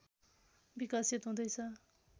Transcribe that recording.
विकसित हुँदै छ